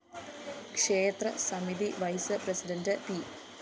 ക്ഷേത്ര സമിതി vice president P